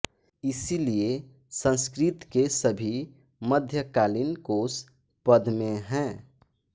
इसलिए संस्कृत के सभी मध्यकालीन कोश पद्य में हैं